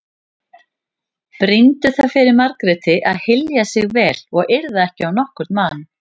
Brýndu það fyrir Margréti að hylja sig vel og yrða ekki á nokkurn mann.